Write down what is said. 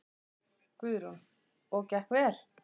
Guðrún: Og gekk vel?